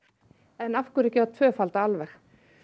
en af hverju ekki að tvöfalda alveg